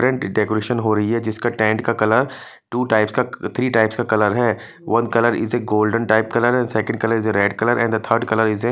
tent decoration हो रहीं हैं जिसका टेंट का कलर टू टाइप का थ्री टाइप का कलर हैं one colour is a golden type colour second colour is a red colour and the third colour is a --